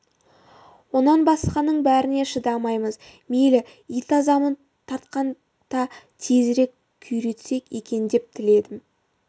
онан басқаның бәріне шыдаймыз мейлі ит азабын тартсақ та тезірек күйретсек екен деп тіледім